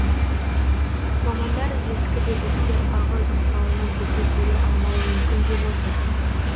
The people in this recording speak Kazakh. мамандар ескі бөгеттер ағын ықпалына төтеп бере алмауы мүмкін деп отыр